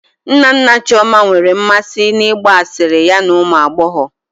Nna nna Chioma nwere mmasị n'ịgba asịrị ya na ụmụ agbọghọ